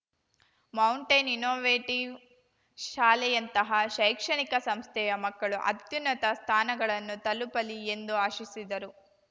mountain Innovative ಶಾಲೆಯಂತಹ ಶೈಕ್ಷಣಿಕ ಸಂಸ್ಥೆಯ ಮಕ್ಕಳು ಅತ್ಯುನ್ನತ ಸ್ಥಾನಗಳನ್ನು ತಲುಪಲಿ ಎಂದು ಆಶಿಸಿದರು